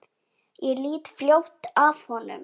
Ég lít fljótt af honum.